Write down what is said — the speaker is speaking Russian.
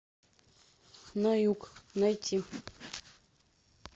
на юг найти